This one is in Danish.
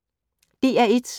DR1